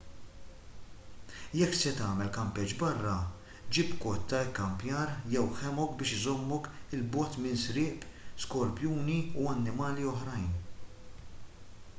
jekk se tagħmel kampeġġ barra ġib kot tal-ikkampjar jew hammock biex iżommok il bogħod minn sriep skorpjuni u annimali oħrajn